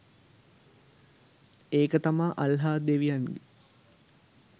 ඒක තමා අල්ලාහ් දෙවියන්ගේ